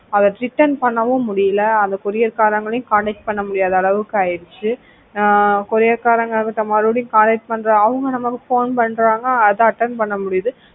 அத return பண்ணவும் முடியல அந்த courier காரங்களையும் contact பண்ண முடியாத அளவுக்கு ஆயிடுச்சு ஆஹ் courier காரங்களையும் மறுபடியும் contact பண்ற அவங்களும் phone பண்றாங்க அத attend பண்ண முடியுது